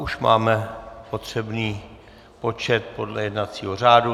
Už máme potřebný počet podle jednacího řádu.